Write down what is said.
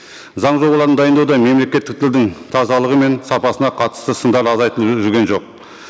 заң жобаларын дайындауда мемлекеттік тілдің тазалығы мен сапасына қатысты сындар азайтылып жүрген жоқ